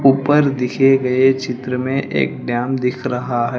ऊपर दिखे गए चित्र में एक डैम दिख रहा है।